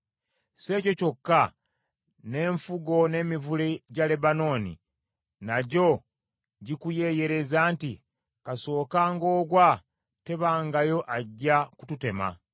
Si ekyo kyokka n’enfugo n’emivule gya Lebanooni, nagyo gikuyeeyeereza nti, “Kasookanga ogwa tebangayo ajja kututema.”